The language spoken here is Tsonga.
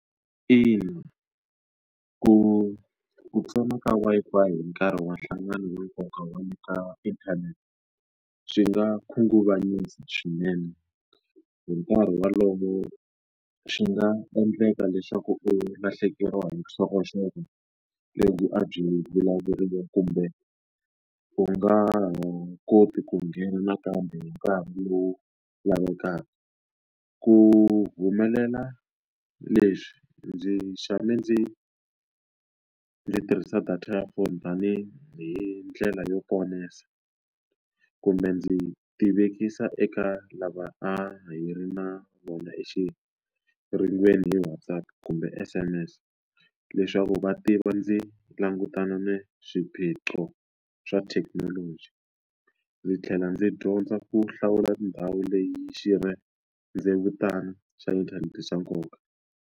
Ina, ku ku tsona ka Wi-Fi hi nkarhi wa nhlangano wa nkoka wa ka inthanete, swi nga khunguvanyisa swinene. Hi nkarhi walowo swi nga endleka leswaku u lahlekeriwa hi vuxokoxoko lebyi a byi vulavuriwa kumbe u nga ha koti ku nghena nakambe hi nkarhi lowu lavekaka. Ku humelela leswi ndzi tshame ndzi ndzi tirhisa data ya phone tanihi ndlela yo kumbe ndzi tivekisa eka lava a hi ri na vona hi WhatsApp kumbe S_M_S, leswaku va tiva ndzi langutana na swiphiqo swa thekinoloji. Ndzi tlhela ndzi dyondza ku hlawula ndhawu leyi xirhendzevutana swa inthanete swa nkoka.